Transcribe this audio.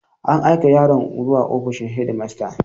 An aika yaron zuwa ofishin shedimasta.